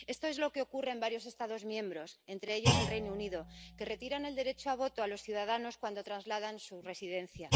Esto es lo que ocurre en varios Estados miembros —entre ellos, el Reino Unido—, que retiran el derecho de voto a los ciudadanos cuando trasladan su residencia.